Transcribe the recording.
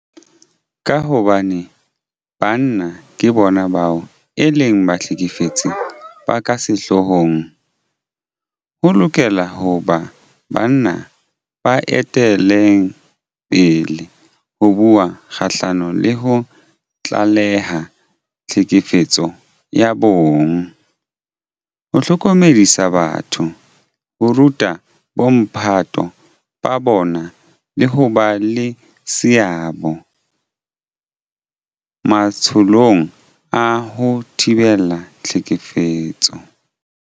Ka hobane banna ke bona bao e leng bahlekefetsi ba ka sehloohong, ho lokela ho ba banna ba etellang pele ho bua kgahlano le ho tlaleha tlhekefetso ya bong, ho hlokomedisa batho, ho ruta bomphato ba bona le ho ba le seabo matsholong a ho thibela tlhekefetso.